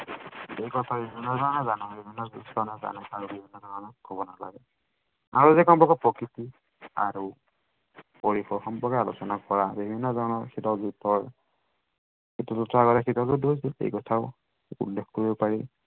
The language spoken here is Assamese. আৰু তাৰ লগত সম্পৰ্ক প্ৰকৃতিৰ আৰু পৰিকল্পনাৰ প্ৰসংগ আলোচনা কৰা হয়। বিভিন্ন ধৰনৰ শীতল যুদ্ধ হল। শীতল যুদ্ধৰ কথাও উল্লেখ কৰিব পাৰে।